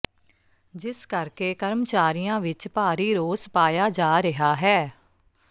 ਜਿਸ ਕਰਕੇ ਕਰਮਚਾਰੀਆਂ ਵਿੱਚ ਭਾਰੀ ਰੋਸ ਪਾਇਆ ਜਾ ਰਿਹਾ ਹੈ